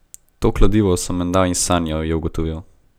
To kladivo sem menda izsanjal, je ugotovil.